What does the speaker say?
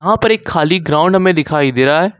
पर एक खाली ग्राउंड में दिखाई दे रहा है।